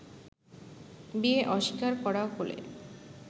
বিয়ে অস্বীকার করা হলে